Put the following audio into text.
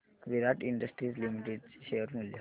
विराट industries limited चे share मूल्य